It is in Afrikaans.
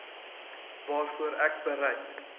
waarvoor ek bereid